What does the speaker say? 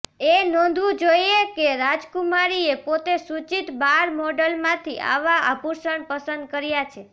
એ નોંધવું જોઇએ કે રાજકુમારીએ પોતે સૂચિત બાર મોડલમાંથી આવા આભૂષણ પસંદ કર્યા છે